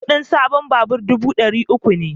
Kudin sabon babur dubu dari uku ne